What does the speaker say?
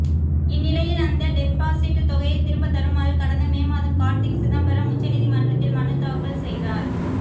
இந்நிலையில் அந்த டெபாசிட் தொகையை திரும்ப தருமாறு கடந்த மே மாதம் கார்த்திக் சிதம்பரம் உச்சநீதிமன்றத்தில் மனு தாக்கல் செய்தார்